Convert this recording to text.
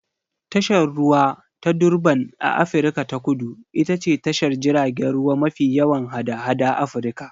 Tashar ruwa ta Durban a Afirka ta Kudu ita ce tashar jiragen ruwa mafi yawan hada-hada Afirka